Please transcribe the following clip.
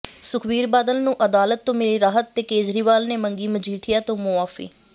ਸੁਖਬੀਰ ਬਾਦਲ ਨੂੰ ਅਦਾਲਤ ਤੋਂ ਮਿਲੀ ਰਾਹਤ ਤੇ ਕੇਜਰੀਵਾਲ ਨੇ ਮੰਗੀ ਮਜੀਠੀਆ ਤੋਂ ਮੁਆਫੀ